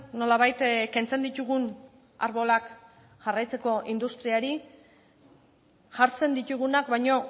nolabait kentzen ditugun arbolak jarraitzeko industriari jartzen ditugunak baino